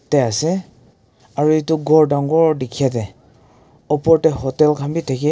Deh ase aro etu ghor dangor dekhya dae opor dae hotel khan bhi dekhey.